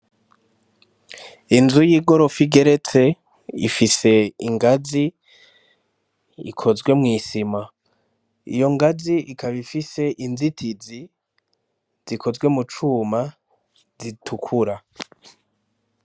Inzu y'igorofa igeretse ifise ingazi ikozwe mw'isima iyo ngazi ikaba ifise inzitizi zikozwe mu cuma zitukura.